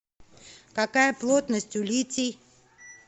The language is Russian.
какая плотность у литий